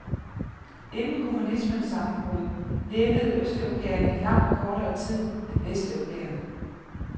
Inden kommunismens sammenbrud levede østeuropæere i langt kortere tid end vesteuropæere.